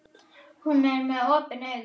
Hún er með opin augun.